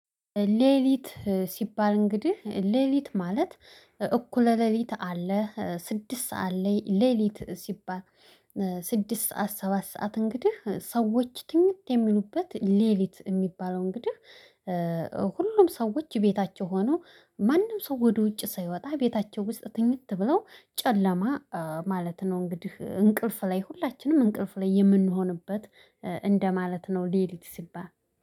ሌሊት ሲባል እንግዲህ ሌሊት ማለት እኩለ ሌሊት አለ ስድስት ሰዓት ላይ ሌሊት ሲባል ስድስት ሰዓት ሰባት ሰዓት እንግዲህ ሰዎች ትንሽ የሚሉበት ሌሊት የሚባለው እንግዲህ። ሁሉም ሰዎች ቤታቸው ሆነው ማንም ሰው ወደ ውጭ ሳይወጣ ቤታቸው ውስጥ ትኝት ብለው ጨለማ ማለት ነው። እንግዲህ እንቅልፍ ላይ ሁላችንም እንቅልፍ ላይ የምንሆንበት እንደማለት ነው ሌሊት ሲባል